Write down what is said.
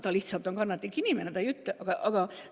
Ta lihtsalt on kannatlik inimene, ta ei ütle.